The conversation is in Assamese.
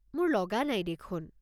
মোৰ লগা নাই দেখোন।